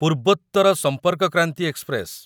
Purvottar Sampark Kranti express